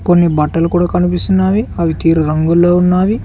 కొన్ని బట్టలు కూడా కనిపిస్తున్నాయి అవి తీరు రంగులో ఉన్నవి.